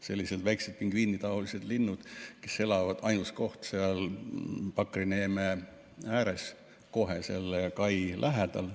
Need on väikesed pingviinitaolised linnud, kes elavad ainsa kohana seal Pakri neeme ääres, kohe selle kai lähedal.